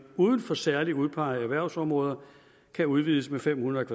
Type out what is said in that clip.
uden for særligt udpegede erhvervsområder kan udvides med fem hundrede